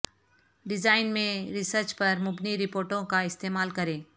design میں research پر مبنی رپورٹوں کا استعمال کریں